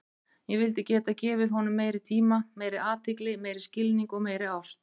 Ég vildi geta gefið honum meiri tíma, meiri athygli, meiri skilning og meiri ást.